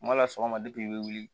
Kuma dɔ la sɔgɔma de i bɛ wuli